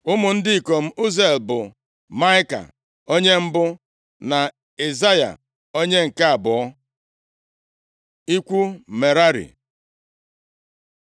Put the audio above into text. Ụmụ ndị ikom Uziel bụ Maịka, onye mbụ, na Ishaya, onye nke abụọ. Ikwu Merari